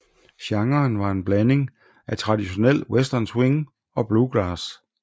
Genren var en blanding af traditionel western swing og bluegrass